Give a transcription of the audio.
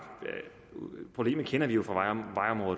kender vi jo